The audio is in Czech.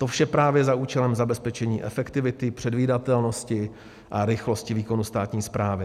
To vše právě za účelem zabezpečení efektivity, předvídatelnosti a rychlosti výkonu státní správy.